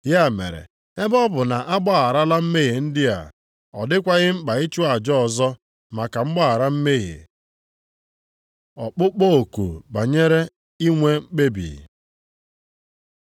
Ya mere, ebe ọ bụ na a gbagharala mmehie ndị a, ọ dịkwaghị mkpa ịchụ ajọ ọzọ maka mgbaghara mmehie. Ọkpụkpọ oku banyere inwe mkpebi